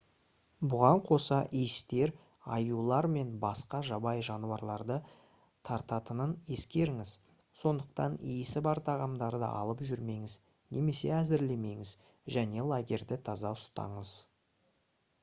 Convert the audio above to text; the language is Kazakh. бұған қоса иістер аюлар мен басқа жабайы жануарларды тартатынын ескеріңіз сондықтан иісі бар тағамдарды алып жүрмеңіз немесе әзірлемеңіз және лагерьді таза ұстаңыз